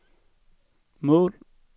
mål